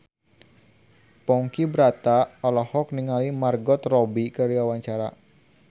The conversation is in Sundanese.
Ponky Brata olohok ningali Margot Robbie keur diwawancara